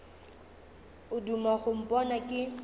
o duma go mpona ke